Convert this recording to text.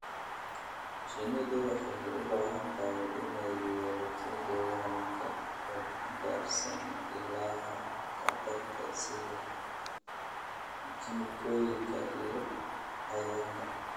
Shinnidu waxay u baahan tahay inay yeelato deegaan ka badbaadsan ilaha khatarta sida kiimikooyinka iyo cayayaanka.